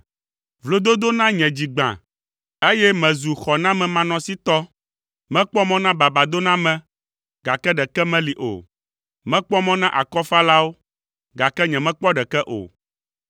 Vlododo na nye dzi gbã, eye mezu xɔnamemanɔsitɔ; mekpɔ mɔ na babadoname, gake ɖeke meli o. Mekpɔ mɔ na akɔfalawo, gake nyemekpɔ ɖeke o.